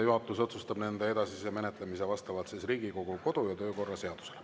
Juhatus otsustab nende edasise menetlemise vastavalt Riigikogu kodu- ja töökorra seadusele.